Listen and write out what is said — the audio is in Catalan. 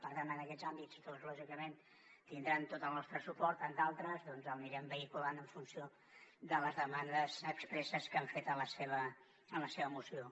per tant en aquests àmbits lògicament tindran tot el nostre suport en d’altres l’anirem vehiculant en funció de les demandes expresses que han fet en la seva moció